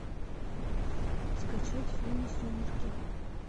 скачать фильмы сумерки